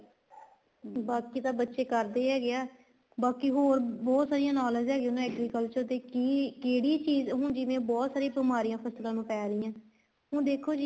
ਬਾਕੀ ਤਾਂ ਬੱਚੇ ਕਰਦੇ ਹੀ ਹੈਗੇ ਆ ਬਾਕੀ ਹੋਰ ਬਹੁਤ ਸਾਰੀਆਂ knowledge ਹੈਗੀਆਂ agriculture ਤੇ ਕੀ ਕਿਹੜੀ ਚੀਜ਼ ਹੁਣ ਜਿਵੇਂ ਬਹੁਤ ਸਾਰੀਆਂ ਬਿਮਾਰੀਆਂ ਫ਼ਸਲਾ ਨੂੰ ਪੈ ਰਹੀਆਂ ਏ ਹੁਣ ਦੇਖੋ ਜੀ